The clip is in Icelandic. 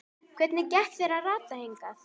Hvernig gekk þér að rata hingað?